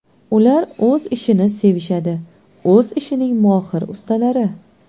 Ular o‘z ishini sevishadi, o‘z ishining mohir ustalari.